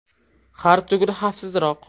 Har tugul xavfsizroq.